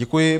Děkuji.